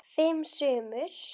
Fimm sumur